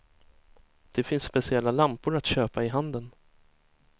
Det finns speciella lampor att köpa i handeln.